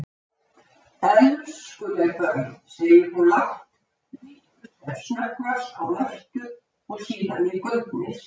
Elskuleg börn, segir hún lágt, lítur sem snöggvast á Mörtu og síðan í gaupnir sér.